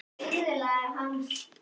Svona, svona, segir mamma.